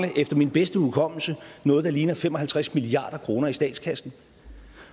vi efter min bedste hukommelse noget der ligner fem og halvtreds milliard kroner i statskassen